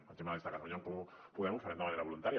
per exemple des de catalunya en comú podem ho farem de manera voluntària